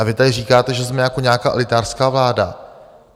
A vy tady říkáte, že jsme jako nějaká elitářská vláda?